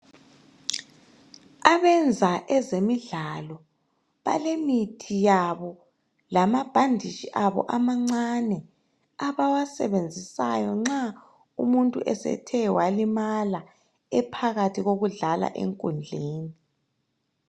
Abenza ezemidlalo balemithi yabo lamabhanditshi abo amancane abawasebenzisayo nxa umuntu esethe walimala ephakathi kokudlala enkundleni.